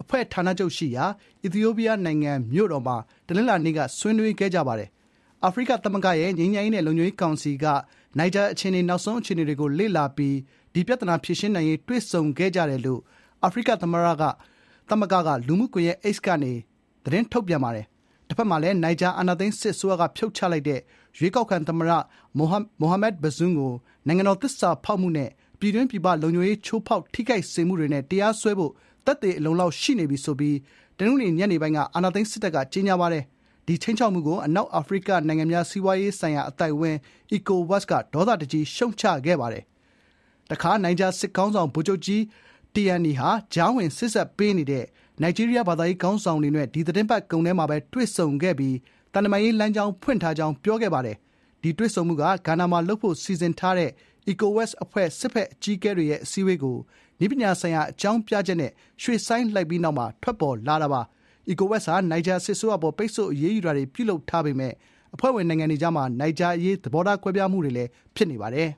အဖွဲ့ ဌာနချုပ်ရှိရာ အီသီယိုးပီးယားနိုင်ငံ မြို့တော် Addis Ababa မှာ တနင်္လာနေ့က ဆွေးနွေးခဲ့ကြပါတယ်။ "အာဖရိကသမဂ္ဂရဲ့ ငြိမ်းချမ်းရေးနဲ့ လုံခြုံရေးကောင်စီက နိုင်ဂျာရဲ့နောက်ဆုံး အခြေအနေတွေကိုလေ့လာပြီး ဒီ ပြဿနာ ဖြေရှင်းနိုင်ရေး တွေ့ဆုံခဲ့ကြတယ်" လို့ အာဖရိကသမဂ္ဂက လူမှုကွန်ရက် X ကနေ သတင်းထုတ်ပြန်ပါတယ်။ တဖက်မှာလည်း နိုင်ဂျာ အာဏာသိမ်းစစ်အစိုးရက ဖြုတ်ချလိုက်တဲ့ ရွေးကောက်ခံသမ္မတ Mohamed Bazoum ကို "နိုင်ငံတော်သစ္စာဖောက်မှုနဲ့ ပြည်တွင်း၊ ပြင်ပလုံခြုံရေး ချိုးဖောက် ထိခိုက်စေမှုတွေနဲ့ တရားစွဲဖို့ သက်သေအလုံအလောက် ရှိနေပြီ။" ဆိုပြီး တနင်္ဂနွေနေ့ညပိုင်းက ကြေညာခဲ့ပါတယ်။ ဒီ ခြိမ်းခြောက်မှုကို အနောက်အာဖရိကနိုင်ငံများ စီးပွားရေးဆိုင်ရာ အသိုက်အဝန်း (ECOWAS) ဒေါသတကြီး ရှုတ်ချခဲ့ပါတယ်။ တခါ နိုင်ဂျာ စစ်ခေါင်းဆောင် ဗိုလ်ချုပ်ကြီး Abdourahamane Tiani က ကြားဝင် စေ့စပ်ပေးနေတဲ့ နိုင်ဂျီးရီးယားဘာသာရေးခေါင်းဆောင်တွေနဲ့ ဒီသီတင်းပတ်ကုန်မှာပဲ တွေ့ဆုံခဲ့ပြီး သံတမန်ရေးလမ်းကြောင်း ဖွင့်ထားကြောင်း ပြောခဲ့ပါတယ်။ ဒီတွေ့ဆုံမှုက ဂါနာမှာလုပ်ဖို့စီစဉ်ထားတဲ့ ECOWAS အဖွဲ့ စစ်ဘက်အကြီးအကဲတွေရဲ့ အစည်းအဝေးကို "နည်းပညာဆိုင်ရာအကြောင်းပြချက်" နဲ့ ရွှေ့ဆိုင်းလိုက်ပြီးနောက် ထွက်ပေါ်လာတာပါ။ ECOWAS ဟာ နိုင်ဂျာ စစ်အစိုးရအပေါ် ပိတ်ဆို့အရေးယူတာတွေ ပြုလုပ်ထားပေမယ့် အဖွဲ့ဝင် နိုင်ငံတွေကြားမှာ နိုင်ဂျာအရေး သဘောထားကွဲပြားမှုတွေလည်း ဖြစ်နေပါတယ်